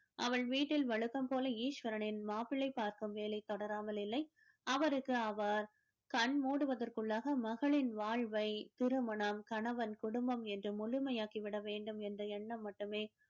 அவள் வீட்டில் வழக்கம் போல ஈஸ்வரனின் மாப்பிளை பார்க்கும் வேலை தொடராமல் இல்லை அவருக்கு அவர் கண் மூடுவதற்குள்ளாக மகளின் வாழ்வை திருமணம் கணவன் குடும்பம் என்று முழுமையாக்கி விட வேண்டும் என்ற எண்ணம் மட்டுமே